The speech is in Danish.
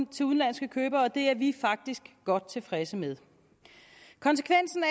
til udenlandske købere og det er vi faktisk godt tilfredse med konsekvensen af